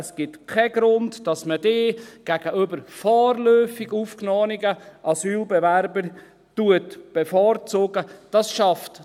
es gibt keinen Grund, dass man diese gegenüber vorläufig aufgenommenen Asylbewerbern bevorzugt.